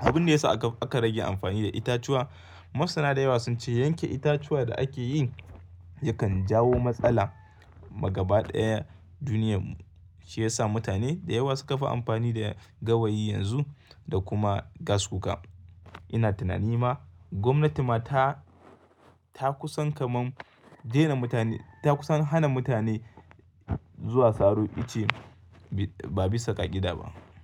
Abin da ya sa aka rage amfani da itatuwa, masana da yawa sun ce yanke itatuwa da ake yi yakan jawo matsala. Ma gaba ɗaya duniya ce ya sa mutane da yawa suka kafa amfani da gawayi yanzu da kuma gas kuka. Ina tunani ma gwamnati ma ta, ta kusan kaman dena mutane ta kusan hana mutane zuwa saro ice ba bisa ka kakida ba.